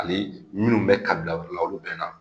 Hali minnu bɛ ka bila olu la olu bɛna.